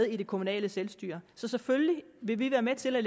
i det kommunale selvstyre så selvfølgelig vil vi være med til at